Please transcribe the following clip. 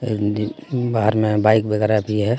हिंदी बार में बाइक वगैरह भी है.